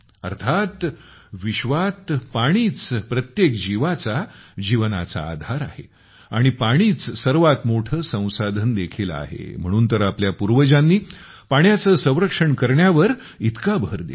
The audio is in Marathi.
अर्थात विश्वात पाणीच प्रत्येक जीवाचा जीवनाचा आधार आहे आणि पाणीच सर्वात मोठे संसाधन देखील आहे म्हणून तर आपल्या पूर्वजांनी पाण्याचे संरक्षण करण्यावर इतका भर दिला